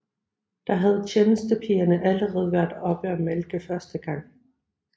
Der havde tjenestepigerne allerede været oppe og malke første gang